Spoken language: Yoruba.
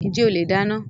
Njẹ ole dáná?